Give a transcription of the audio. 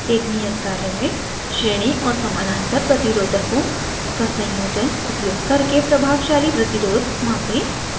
एक नियत कार्य में श्रेणी और समानांतर प्रतिरोधकों का संयोजन उपयोग करके प्रभावशाली प्रतिरोध मापें